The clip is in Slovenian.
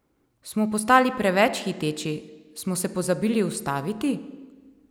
Smo postali preveč hiteči, smo se pozabili ustaviti?